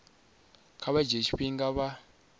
kha vha dzhie tshifhinga vha